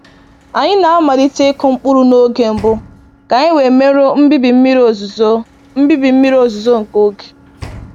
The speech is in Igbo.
Anyị na-amalite ịkụ mkpụrụ n’oge mbụ ka anyị wee merụọ mbibi mmiri ozuzo mbibi mmiri ozuzo nke oge